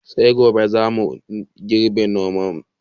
Sai gobe za mu girɓi nunannun kankana daga lambun mu